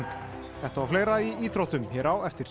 þetta og fleira í íþróttum hér á eftir